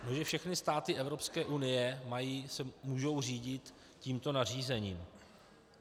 Že všechny státy Evropské unie se mohou řídit tímto nařízením.